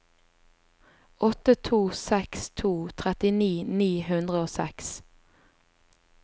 åtte to seks to trettini ni hundre og seks